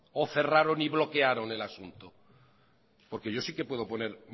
o cerraron o bloquearon el asunto porque yo sí que puedo poner